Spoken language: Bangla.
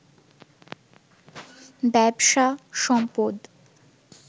ব্যবসা, সম্পদ